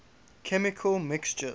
chemical mixtures